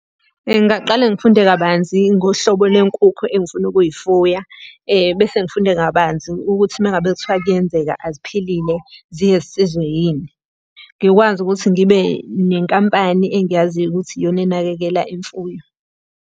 Ngingaqale ngifunde kabanzi ngohlobo lenkukhu engifuna ukuyifuya, bese ngifunde kabanzi ukuthi uma ngabe kuthiwa kuyenzeka aziphilile, ziye zisizwe yini. Ngikwazi ukuthi ngibe nenkampani engiyaziyo ukuthi iyona enakekela imfuyo.